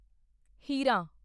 ਹੀਰਾਂ